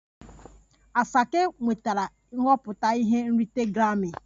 Asake nwetara nhọpụta ihe nrite grammi